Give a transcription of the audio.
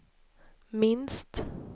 minst